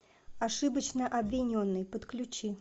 ошибочно обвиненный подключи